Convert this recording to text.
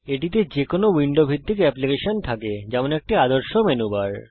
এটি তে যেকোনো উইন্ডো ভিত্তিক আবেদন অ্যাপ্লিকেশন থাকে যেমন একটি আদর্শ তালিকা মেনু বার